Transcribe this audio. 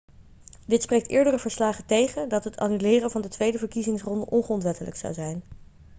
dit spreekt eerdere verslagen tegen dat het annuleren van de tweede verkiezingsronde ongrondwettelijk zou zijn